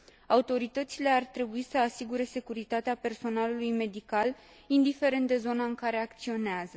Autoritățile ar trebui să asigure securitatea personalului medical, indiferent de zona în care acționează.